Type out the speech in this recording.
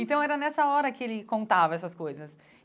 Então era nessa hora que ele contava essas coisas.